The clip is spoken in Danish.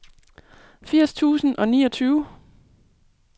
firs tusind og niogtyve